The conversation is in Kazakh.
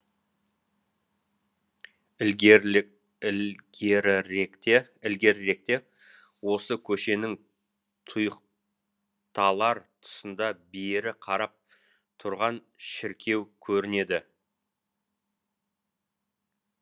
ілгеріректе осы көшенің тұйықталар тұсында бері қарап тұрған шіркеу көрінеді